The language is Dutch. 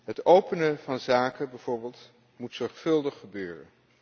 Het openen van zaken bijvoorbeeld moet zorgvuldig gebeuren.